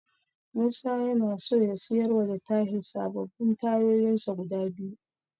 Musa yana so ya siyarwa da Tahir sababbin tayoyinsa guda biyu.